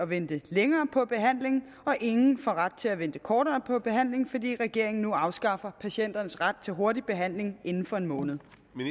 vente længere på behandling og ingen får ret til at vente kortere på behandling fordi regeringen nu afskaffer patienternes ret til hurtig behandling inden for en måned